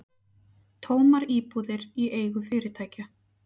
Tómar íbúðir í eigu fyrirtækja